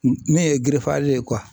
Min ye ye